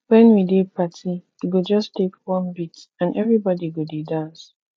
wen we dey party e go just take one beat and everybody go dey dance